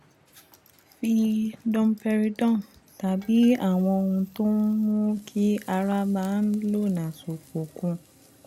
fi domperidone tàbí àwọn ohun tó ń mú kí ara máa ń lọ́nà ṣòfò kún un